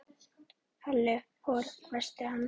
Halli hor hvæsti hann.